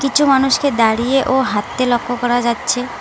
কিছু মানুষকে দাঁড়িয়ে ও হাঁটতে লক্ষ্য করা যাচ্ছে।